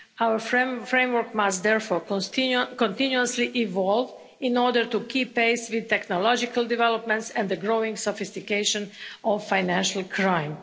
Our framework must therefore continuously evolve in order to keep pace with technological developments and the growing sophistication of financial crime.